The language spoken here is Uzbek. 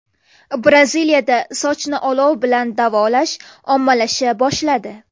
Braziliyada sochni olov bilan davolash ommalasha boshladi.